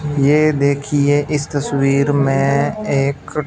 ये देखिए इस तस्वीर में एक--